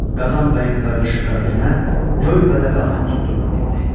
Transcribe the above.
Qazan bəyin qardaşı Qaragünə göy bədəvi atını tutdurub mindi.